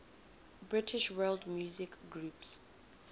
british world music groups